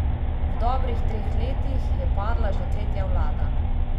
V dobrih treh letih je padla že tretja vlada!